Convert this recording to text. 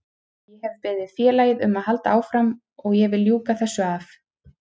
Ég hef beðið félagið um að halda áfram og ég vil ljúka þessu af.